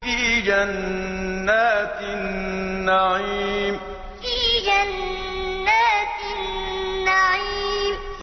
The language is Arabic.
فِي جَنَّاتِ النَّعِيمِ فِي جَنَّاتِ النَّعِيمِ